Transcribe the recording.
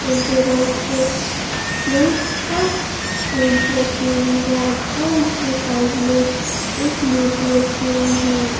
Tables पे plates और spoons रखी हुए हैं और इसके साइड में एक मूर्ति रखी हुई है।